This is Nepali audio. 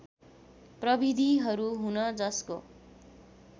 प्रविधिहरू हुन् जसको